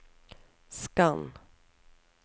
skann